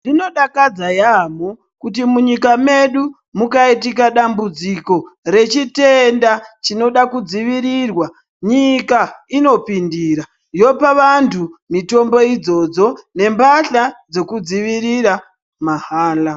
Zvinodakadza yaamho kuti munyika medu mukaitika dambudziko rechitenda chinoda kudzivirirwa nyika inopindira yopa antu mitombo idzodzo nembahla dzekudzivirira mahala.